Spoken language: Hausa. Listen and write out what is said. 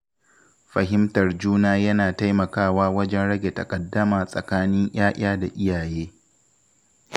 Fahimtar juna yana taimakawa wajen rage taƙaddama tsakanin ‘ya’ya da iyaye.